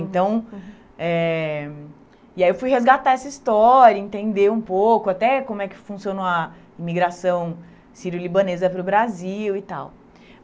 Então eh e aí eu fui resgatar essa história, entender um pouco até como é que funciona a imigração sirio-libanesa para o Brasil e tal.